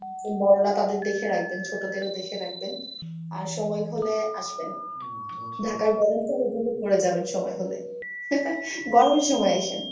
বড়রা তাদের দেখে রাখবেন ছোটদের ও দেখে রাখবেন। আর সময় হলে আসবেন ঢাকায় গরম তা উপভোগ করে যাবেন সময় হলে। গরমের সময় আইসেন।